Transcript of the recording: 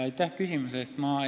Aitäh küsimuse eest!